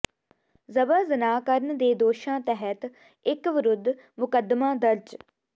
ਜਬਰ ਜਨਾਹ ਕਰਨ ਦੇ ਦੋਸ਼ਾਂ ਤਹਿਤ ਇਕ ਵਿਰੁੱਧ ਮੁਕੱਦਮਾ ਦਰਜ